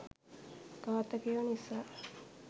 ඝාතකයො නිසා..